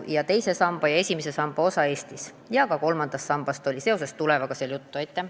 Rääkisime esimese ja teise samba osast Eestis ja ka kolmandast sambast oli seoses tulundusühistuga Tuleva juttu.